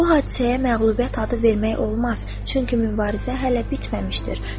Bu hadisəyə məğlubiyyət adı vermək olmaz, çünki mübarizə hələ bitməmişdir.